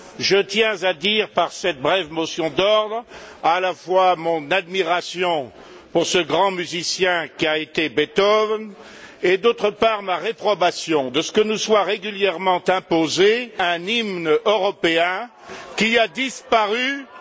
Je tiens à dire par cette brève motion d'ordre à la fois mon admiration pour ce grand musicien qu'a été Beethoven et d'autre part, ma réprobation de ce que nous soit régulièrement imposé un hymne européen qui a disparu dans